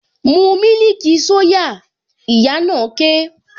Mu mílìkì soya! Ìyá na ké